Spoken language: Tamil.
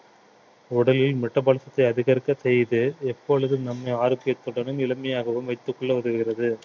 உடலில் metabolis சத்தை அதிகரிக்க செய்து எப்பொழுதும் நம்மை ஆரோக்கியத்துடனும் இளமையாகவும் வைத்துக் கொள்ள உதவுகிறது